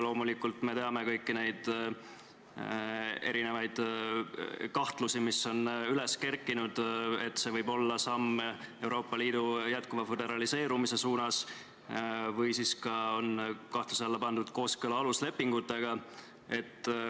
Loomulikult me teame kõiki neid erinevaid kahtlusi, mis selle laenuskeemiga seoses on üles kerkinud, et see võib olla samm Euroopa Liidu jätkuva föderaliseerumise suunas, või on kahtluse alla pandud kooskõla aluslepingutega.